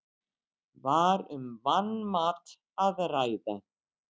Var um vanmat að ræða?